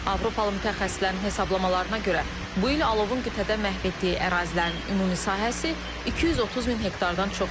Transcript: Avropalı mütəxəssislərin hesablamalarına görə, bu il alovun qitədə məhv etdiyi ərazilərin ümumi sahəsi 230 min hektardan çoxdur.